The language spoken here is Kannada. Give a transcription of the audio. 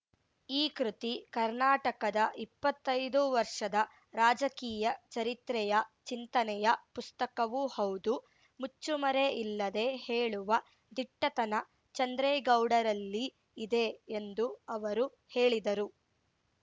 ಈ ಕೃತಿ ಕರ್ನಾಟಕದ ಇಪ್ಪತ್ತೈದು ವರ್ಷದ ರಾಜಕೀಯ ಚರಿತ್ರೆಯ ಚಿಂತನೆಯ ಪುಸ್ತಕವೂ ಹೌದು ಮುಚ್ಚುಮರೆ ಇಲ್ಲದೆ ಹೇಳುವ ದಿಟ್ಟತನ ಚಂದ್ರೇಗೌಡರಲ್ಲಿ ಇದೆ ಎಂದು ಅವರು ಹೇಳಿದರು